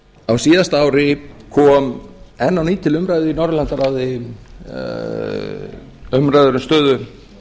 á síðasta ári kom enn á ný til umræðu í norðurlandaráði umræða um stöðu